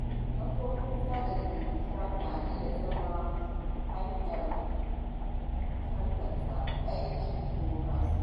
Kafofin sada zumunta na iya zama hanyar tallata aiki ko kasuwanci.